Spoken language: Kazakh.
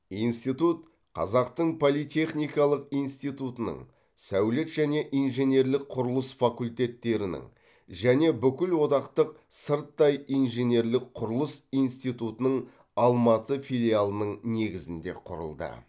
институт қазақтың политехникалық институтының сәулет және инженерлік құрылыс факультеттерінің және бүкілодақтық сырттай инженерлік құрылыс институтының алматы филиалының негізінде құрылды